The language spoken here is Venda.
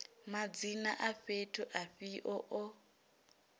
madzina a fhethu afhio o